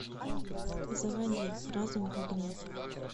заводи разум в огне